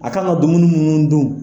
A kan ka dumuni minnu dun.